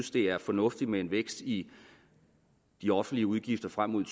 det er fornuftigt med en vækst i de offentlige udgifter frem mod